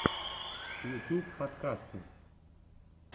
ютюб подкасты